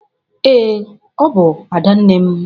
Ee, ọ bụ Adanne m.